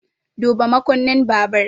Duba makunnin babur!